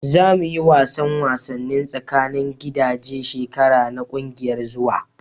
Za mu yi wasan wasanni tsakanin gidaje shekara na kungiyar zuwa.